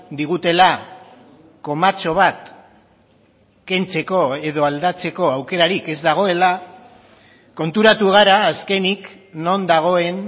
digutela komatxo bat kentzeko edo aldatzeko aukerarik ez dagoela konturatu gara azkenik non dagoen